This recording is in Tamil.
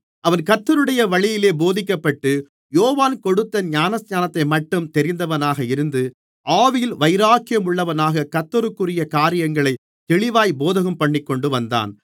அவன் கர்த்தருடைய வழியிலே போதிக்கப்பட்டு யோவான் கொடுத்த ஞானஸ்நானத்தைமட்டும் தெரிந்தவனாக இருந்து ஆவியில் வைராக்கியள்ளவனாகக் கர்த்தருக்குரிய காரியங்களைத் தெளிவாய்ப் போதகம்பண்ணிக்கொண்டுவந்தான்